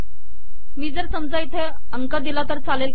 मी जर समजा इथे अंक दिले तरी चालेल